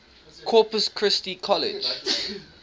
corpus christi college